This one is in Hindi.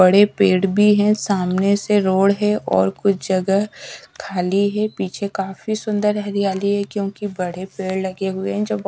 बड़े पेड़ भी हैं सामने से रोड है और कुछ जगह खाली है पीछे काफी सुंदर हरियाली है क्योंकि बड़े पेड़ लगे हुए हैं जो ब--